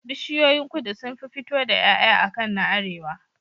Bishiyoyin kudu sunfi fito da Yaya akan na arewa